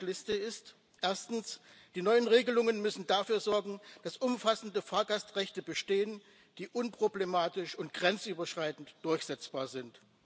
Meine Checkliste ist Erstens müssen die neuen Regelungen dafür sorgen, dass umfassende Fahrgastrechte bestehen, die unproblematisch und grenzüberschreitend durchsetzbar sind.